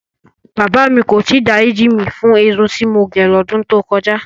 Bàbá mi kò tí ì dáríjì mí fún irun tí mo gẹ̀ lọ́dún tó kọjá.